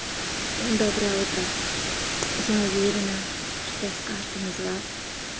доброе утро я уверена что с каждым из вас